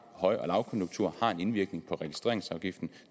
at høj og lavkonjunktur har en indvirkning på registreringsafgiften